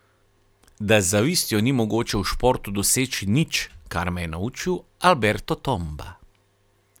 Da z zavistjo ni mogoče v športu doseči nič, kar me je naučil Alberto Tomba.